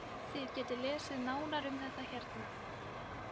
Þið getið lesið nánar um þetta hérna.